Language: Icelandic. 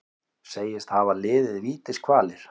Segist hafa liðið vítiskvalir